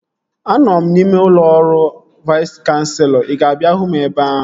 Anọ m n'ime ụlọ ọrụ Vais Kanselọ. Ị ga-abịa hụ m ebe ahụ?